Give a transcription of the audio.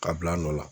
Ka bila nɔ la